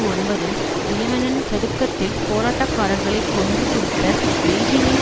ஒன்பதில் தியனன்மென் சதுக்கத்தில் போராட்டக்காரர்களை கொன்று குவித்த பெய்ஜிங்கின்